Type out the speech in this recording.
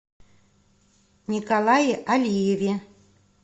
николае алиеве